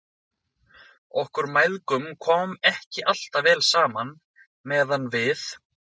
Okkur mæðgum kom ekki alltaf vel saman meðan við